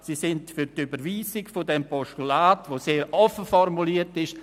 Sie sind für die Überweisung dieses Postulats, welches sehr offen formuliert ist.